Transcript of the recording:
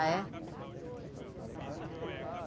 Ah, é?